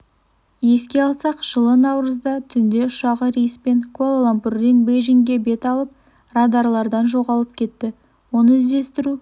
еске салсақ жылы наурызда түнде ұшағы рейспен куала-лумпурден бейжіңге бет алып радарлардан жоғалып кетті оны іздестіру